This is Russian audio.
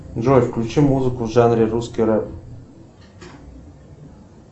джой включи музыку в жанре русский рэп